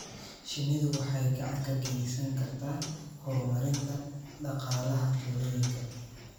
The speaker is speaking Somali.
Shinnidu waxay gacan ka geysan kartaa horumarinta dhaqaalaha tuulooyinka.